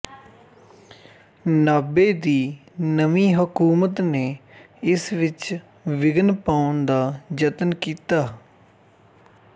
ਨਾਭੇ ਦੀ ਨਵੀਂ ਹਕੂਮਤ ਨੇ ਇਸ ਵਿੱਚ ਵਿਘਨ ਪਾਉਣ ਦਾ ਜਤਨ ਕੀਤਾ